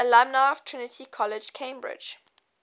alumni of trinity college cambridge